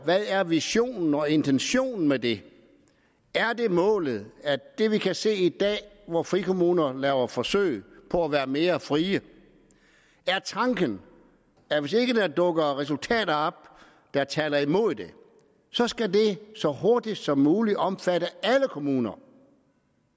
hvad er visionen og intentionen med det er målet det vi kan se i dag hvor frikommuner laver forsøg på at være mere frie er tanken at hvis ikke der dukker resultater op der taler imod det så skal det så hurtigt som muligt omfatte alle kommuner